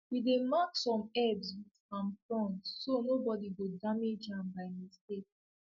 we dey mark some herbs with palm fronds so nobody go damage am by mistake